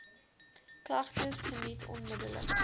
klagtes geniet onmiddellik